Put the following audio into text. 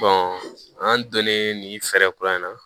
an donnen nin fɛɛrɛ kura in na